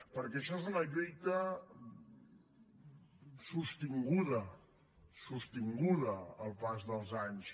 perquè això és una lluita sostinguda sostinguda al pas dels anys